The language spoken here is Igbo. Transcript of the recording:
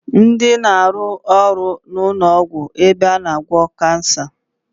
Ndi na-aru ọrụ n'ụlọ ọgwụ ebe a na agwọ Kansa